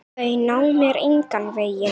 Þau ná mér engan veginn.